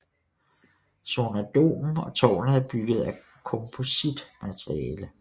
Sonardomen og tårnet er bygget af kompositmateriale